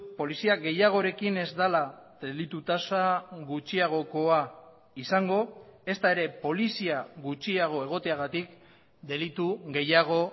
polizia gehiagorekin ez dela delitu tasa gutxiagokoa izango ezta ere polizia gutxiago egoteagatik delitu gehiago